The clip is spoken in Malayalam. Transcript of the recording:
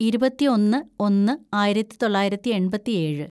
ഇരുപത്തിയൊന്ന് ഒന്ന് ആയിരത്തിതൊള്ളായിരത്തി എണ്‍പത്തിയേഴ്‌